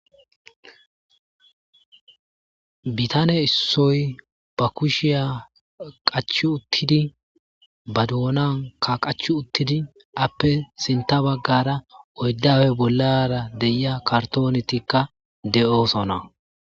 bitane issoy ba kushiya qachu uttidi ba doonan ka qach uttidi appe sinta baggara oyddawe bollara deia kartoonetikka de7oosona